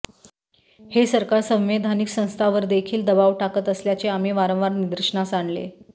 हे सरकार संवैधानिक संस्थांवरदेखील दबाव टाकत असल्याचे आम्ही वारंवार निदर्शनास आणले